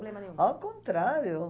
problema nenhum? Ao contrário.